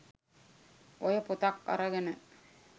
ඔය පොතක් අරගෙන